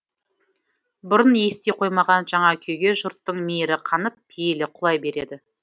бұрын ести қоймаған жаңа күйге жұрттың мейірі қанып пейілі құлай береді